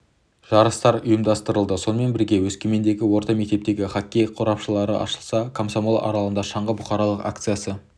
жарыстар ұйымдастырылды сонымен бірге өскемендегі орта мектептерде хоккей қорапшалары ашылса комсомол аралында шаңғы бұқаралық акциясы